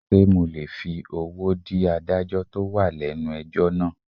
Sé mo lè fi owó dí adájọ́ tó wà lẹ́nu ẹjọ́ náà.